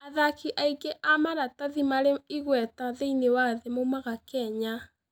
Athaki aingĩ a maratathi marĩ igweta thĩinĩ wa thĩ moimaga Kenya.